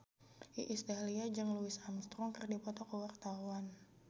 Iis Dahlia jeung Louis Armstrong keur dipoto ku wartawan